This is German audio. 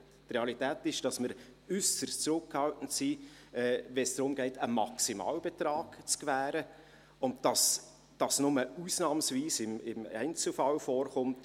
Die Realität ist, dass wir äusserst zurückhaltend sind, wenn es darum geht, einen Maximalbetrag zu gewähren, und dass dies nur ausnahmsweise im Einzelfall vorkommt.